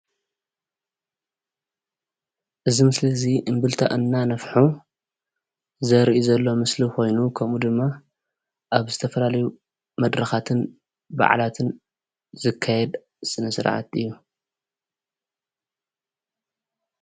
እዚ ምስሊ እዙይ እምብልታ እናነፍሑ ዘርኢ ዘሎ ምስሊ ኾይኑ። ከምኡ ድማ ኣብ ዝተፈላለዩ መድረኻትን በዓላትን ዝካየድ ስነ ስርዓት እዩ።